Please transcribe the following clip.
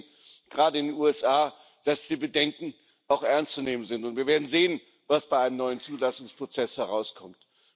Wir sehen gerade in den USA, dass die Bedenken ernst zu nehmen sind, und wir werden sehen, was bei einem neuen Zulassungsprozess herauskommt.